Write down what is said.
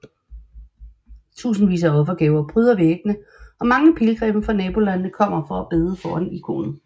Tusindvis af offergaver pryder væggene og mange pilgrimme fra nabolandene kommer for at bede foran ikonet